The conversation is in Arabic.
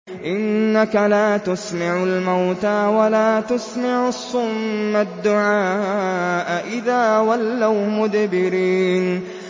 إِنَّكَ لَا تُسْمِعُ الْمَوْتَىٰ وَلَا تُسْمِعُ الصُّمَّ الدُّعَاءَ إِذَا وَلَّوْا مُدْبِرِينَ